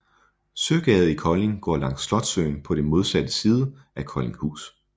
Søgade i Kolding går langs Slotssøen på modsatte side af Koldinghus